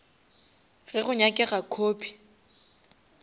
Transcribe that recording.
ge go nyakega copy